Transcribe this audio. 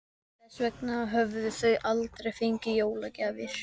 Þess vegna höfðu þau aldrei fengið jólagjafir.